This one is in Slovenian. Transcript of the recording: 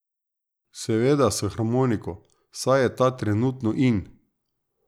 Seveda s harmoniko, saj je ta trenutno in.